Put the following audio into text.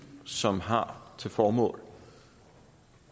som har til formål